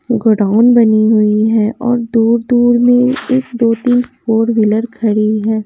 Godown बनी हुई है और दूर-दूर में एक दो-तीन फोर व्हीलर खड़ी हैं।